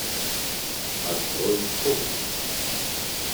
открой общество